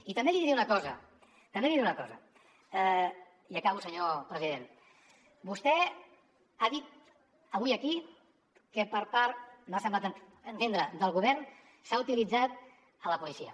i també li diré una cosa i acabo senyor president vostè ha dit avui aquí que per part m’ha semblat entendre del govern s’ha utilitzat la policia